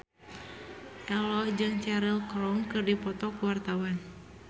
Ello jeung Cheryl Crow keur dipoto ku wartawan